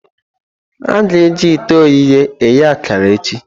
A ga-eji ite ogheye eghe akara echi.